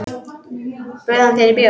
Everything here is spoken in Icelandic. Bauð hann þér í bíó?